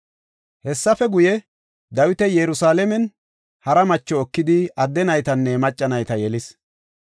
Hessafe guye, Dawiti Yerusalaamen hara macho ekidi adde naytanne macca nayta yelis.